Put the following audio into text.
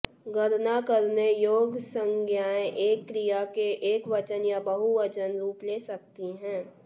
गणना करने योग्य संज्ञाएं एक क्रिया के एकवचन या बहुवचन रूप ले सकती हैं